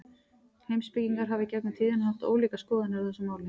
Heimspekingar hafa í gegnum tíðina haft ólíkar skoðanir á þessu máli.